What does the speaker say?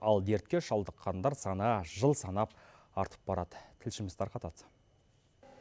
ал дертке шалдыққандар саны жыл санап артып барады тілшіміз тарқатады